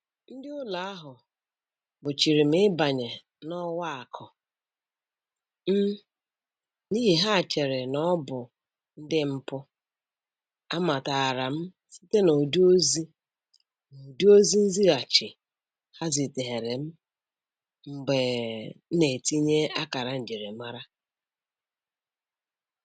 Ndị ụlọ ahụ gbochiri m ịbanye n'ọwa akụ m n'ihi ha cheere na ọ bụ ndị mpụ, amatara m site n'ụdị ozi n'ụdị ozi nzighachi ha ziteere m mgbe na-etinye akara njirimara